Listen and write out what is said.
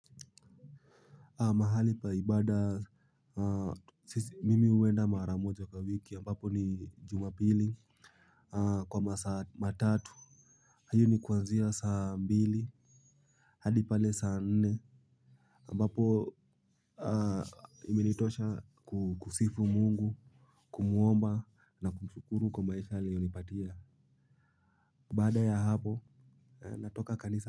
Mahali pa ibada, mimi huenda mara moja kwa wiki, ambapo ni jumapili, kwa masaa matatu. Hii ni kwanzia saa mbili, hadi pale saa nne. Ambapo iminitosha kusifu mungu, kumuomba na kumshukuru kwa maisha aliyonipatia. Baada ya hapo, natoka kanisa.